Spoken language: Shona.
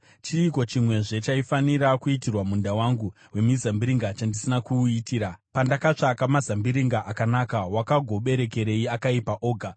Chiiko chimwezve chaifanira kuitirwa munda wangu wemizambiringa chandisina kuuitira? Pandakatsvaka mazambiringa akanaka, wakagoberekerei akaipa oga?